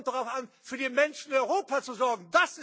Es kommt darauf an, für die Menschen in Europa zu